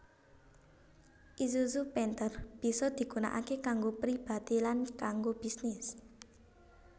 Isuzu Panther bisa digunakaké kanggo pribadi lan kanggo bisnis